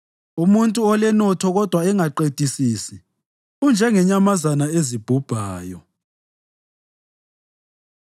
Umuntu olenotho kodwa engaqedisisi unjengezinyamazana ezibhubhayo.